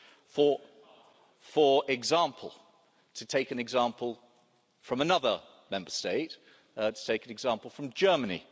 For example, to take an example from another Member State, let's take an example from Germany.